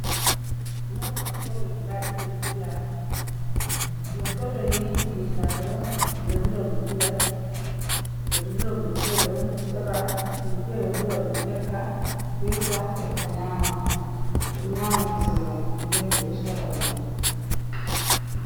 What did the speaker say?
Nda ngortode guda ɗiɗi ɗo dilla, ngortoɗe ni je saare on ɓe ɗo dura ngortgal, ɓe ɗo dura ngortoɗe on sorra, himɓe fere bo dura ɗum ekka hirsa eakka nyama, ɓe ɗo nyama kusel man nden ɓe ɗo sorra ɗum.